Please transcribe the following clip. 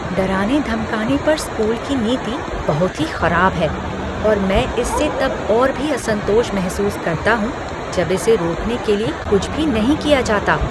डराने धमकाने पर स्कूल की नीति बहुत ही खराब है और मैं इससे तब और भी असंतोष महसूस करता हूँ जब इसे रोकने के लिए कुछ भी नहीं किया जाता।